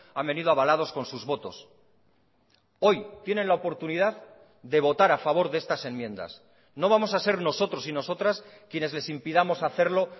han venido avalados con sus votos hoy tienen la oportunidad de votar a favor de estas enmiendas no vamos a ser nosotros y nosotras quienes les impidamos hacerlo